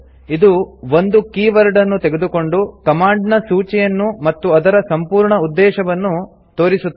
ಇದು ಒಂದು keyword ಅನ್ನು ತೆಗೆದುಕೊಂಡು ಕಮಾಂಡ್ ನ ಸೂಚಿಯನ್ನು ಮತ್ತು ಅದರ ಸಂಪೂರ್ಣ ಉದ್ದೇಶವನ್ನು ತೋರಿಸುತ್ತದೆ